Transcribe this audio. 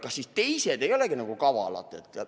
Kas teised ei olegi siis nagu kavalad?